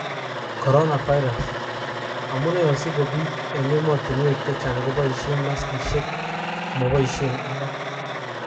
Coronavirus: Amune osiko bik eng emotunwek chechang koboishen maskishek omoboishen alak.